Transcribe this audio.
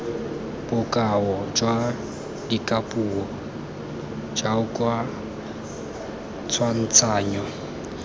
bokao jwa dikapuo jaoka tshwantshanyo